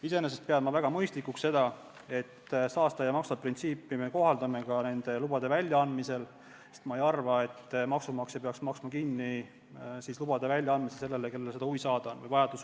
Iseenesest pean ma väga mõistlikuks seda, et me saastaja-maksab-printsiipi kohaldame ka nende lubade väljaandmisel, sest ma ei arva, et maksumaksja peaks maksma kinni loa väljaandmise sellele, kellel on huvi või vajadus seda luba saada.